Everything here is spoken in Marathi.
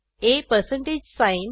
ab